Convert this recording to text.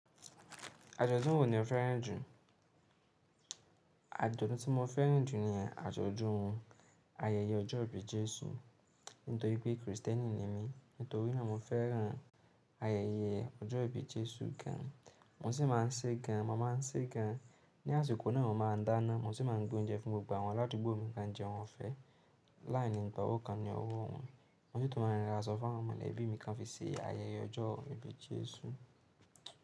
Àjọ̀dún wo ni o fẹ́ràn jù? Àjọ̀dún tí mo fẹ́ràn jù ni àjọ̀dún ayẹyẹ ọjọ́ ìbí Jésù. Nítorí pé Kristẹni ni mí, nítorí náà mo fẹ́ràn ayẹyẹ ọjọ́ ìbí Jésù gan. Mo sì máa ń ṣe gan, mo máa ń ṣe gan. Ni àsìkò náà mo máa ń dáná, mo sì máa ń gbé oúnjẹ fún gbogbo àwọn aládùúgbò mi kan jẹ́ ohun ọ̀fẹ́ láàánín ìgbà oókan ni ọrọ̀ ọ̀hún. Mo sì tún máa ń ríran aṣọ fún àwọn mọ̀lẹ́bí mi kan fi ṣe ayẹyẹ ọjọ́ ìbí Jésù.